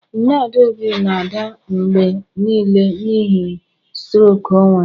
Nne adaobi na-ada mgbe nile n'ihi strok o nwere